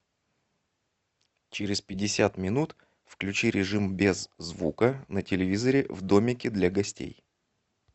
через пятьдесят минут включи режим без звука на телевизоре в домике для гостей